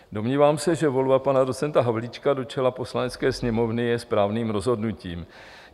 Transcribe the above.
Domnívám se, že volba pana docenta Havlíčka do čela Poslanecké sněmovny je správným rozhodnutím.